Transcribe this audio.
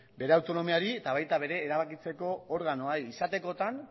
bere autonomiari eta baita bere erabakitzeko organoari izatekotan